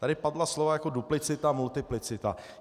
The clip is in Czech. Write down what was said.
Tady padla slova jako duplicita, multiplicita.